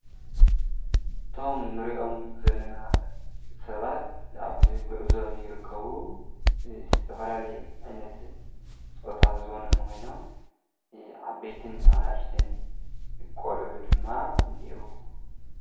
እቶም ንርእዮም ዘለና ሰባት ኣብ ጕዕዘ ይርከቡ ዝተፈላሌየ ዒነት ጾታ ዝወነንኾይኖም ዓበይትን ኣና እሽተን ቖልዑ ድማ እኔእውዎ።